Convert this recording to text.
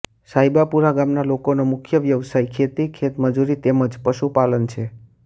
સાહેબાપુરા ગામના લોકોનો મુખ્ય વ્યવસાય ખેતી ખેતમજૂરી તેમ જ પશુપાલન છે